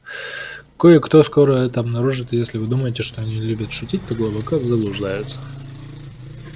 кое-кто скоро это обнаружит и если вы думаете что они любят шутить то глубоко заблуждаются